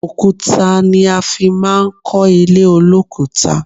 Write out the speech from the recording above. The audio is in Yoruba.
Òkúta ni a fi máa ń kó ilé olokuta